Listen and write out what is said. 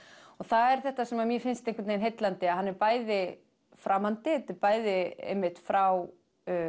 og það er þetta sem mér finnst einhvern veginn heillandi að hann er bæði framandi þetta er bæði frá